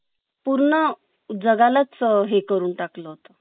पूर्ण जगा लाच अ हे करून टाकल